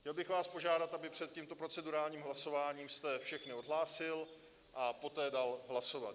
Chtěl bych vás požádat, aby před tímto procedurálním hlasováním jste všechny odhlásil a poté dal hlasovat.